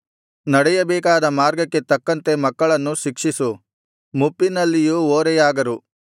ನಡೆಯಬೇಕಾದ ಮಾರ್ಗಕ್ಕೆ ತಕ್ಕಂತೆ ಮಕ್ಕಳನ್ನು ಶಿಕ್ಷಿಸು ಮುಪ್ಪಿನಲ್ಲಿಯೂ ಓರೆಯಾಗರು